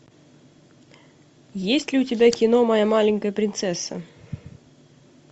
есть ли у тебя кино моя маленькая принцесса